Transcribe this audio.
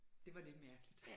Det var lidt mærkeligt